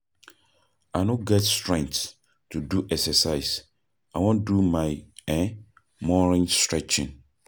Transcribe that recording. I no get strength to do exercise, I wan do my um morning stretching.